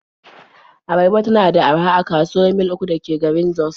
Abarba tana da araha a kasuwar Mil 3 da ke garin Jos.